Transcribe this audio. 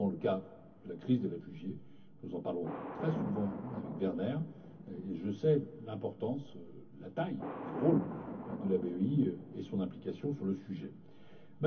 C'est notamment le cas de la crise des réfugiés nous en parlons très souvent avec Werner et je sais l'importance, la taille, le rôle de la BEI et son implication en la matière.